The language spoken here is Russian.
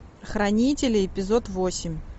хранители эпизод восемь